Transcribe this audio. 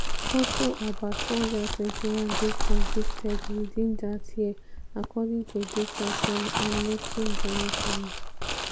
also about 421 dey convicted within dat year according to data from amnesty international.